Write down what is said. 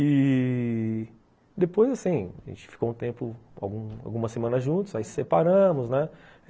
E... depois, assim, a gente ficou um tempo, alguma semana juntos, aí separamos, né?